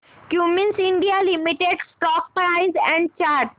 Cummins India limited stock price and chart